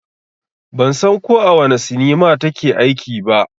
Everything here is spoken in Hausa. Ban san ko a wane sinima ta ke aiki ba